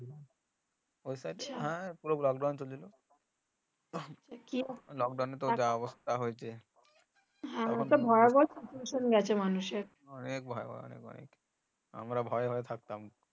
ওই lockdown lockdown হয়েছে অনেক ভয়বায়া অনেক অনেক আমরা ভয়ে ভয়ে থাকতাম